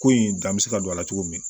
Ko in dan bɛ se ka don a la cogo min na